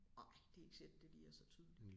Ej det ikke sikkert det lige er så tydeligt